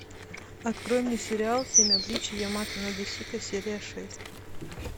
открой мне сериал семь обличий ямато надэсико серия шесть